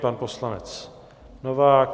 Pan poslanec Novák.